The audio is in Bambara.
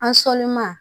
An sɔnni ma